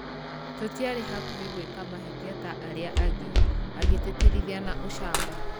Tũtiarĩ hakuhe gwĩka mahĩtia ta arĩa angĩ, agĩtĩtĩrithia na ucamba.